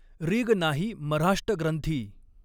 Rig नाहीं मऱ्हाष्ट ग्रंथीं।